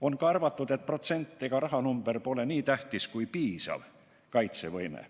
On ka arvatud, et protsent ega rahanumber pole nii tähtis kui piisav kaitsevõime.